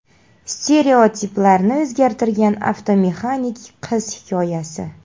Stereotiplarni o‘zgartirgan avtomexanik qiz hikoyasi .